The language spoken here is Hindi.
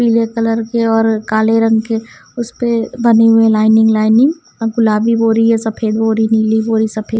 पीले कलर के और काले रंग के उस पे बने हुए लाइनिंग लाइनिंग और गुलाबी बोरी या सफेद बोरी नीली बोरी सफेद --